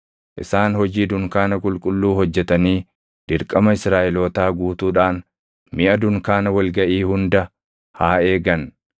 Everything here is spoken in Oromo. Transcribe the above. Isaan hojii dunkaana qulqulluu hojjetanii dirqama Israaʼelootaa guutuudhaan miʼa dunkaana wal gaʼii hunda haa eegan.